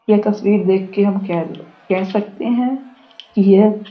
यह तस्वीर देख के हम केल कह सकते हैं कि यह --